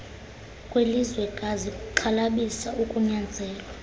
kwelizwekazi kuxhalabisa ukunyanzelwa